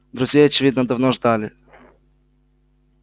друзей очевидно давно ждали